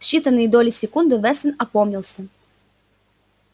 в считанные доли секунды вестон опомнился